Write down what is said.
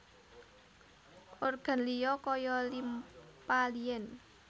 Organ liya kaya limpa lien